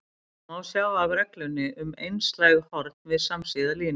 Þetta má sjá af reglunni um einslæg horn við samsíða línur.